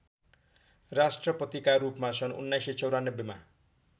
राष्ट्रपतिकारूपमा सन् १९९४ मा